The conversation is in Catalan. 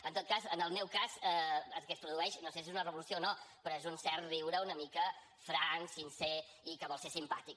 en tot cas en el meu cas el que es produeix no sé si és una revolució o no però és un cert riure una mica franc sincer i que vol ser simpàtic